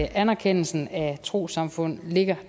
anerkendelsen af trossamfund